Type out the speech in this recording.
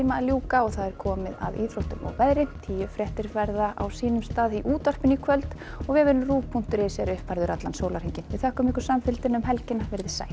að ljúka og það er komið að íþróttum og veðri tíufréttir verða á sínum stað í útvarpinu í kvöld og vefurinn punktur is er uppfærður allan sólarhringinn við þökkum samfylgdina um helgina veriði sæl